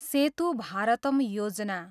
सेतु भारतम योजना